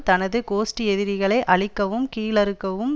தனது கோஷ்டி எதிரிகளை அழிக்கவும் கீழறுக்கவும்